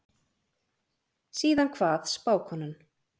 Síðan kvað spákonan